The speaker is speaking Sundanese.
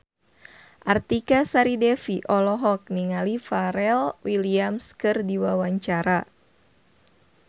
Artika Sari Devi olohok ningali Pharrell Williams keur diwawancara